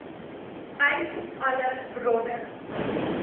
uit alle bronne